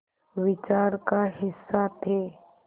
विचार का हिस्सा थे